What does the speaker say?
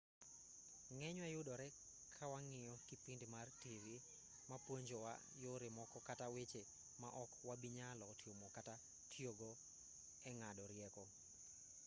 ng'enywa yudore kawang'iyo kipindi mar tivi ma puonjowa yore moko kata weche ma ok wabinyalo timo kata tiyogo eng'ado rieko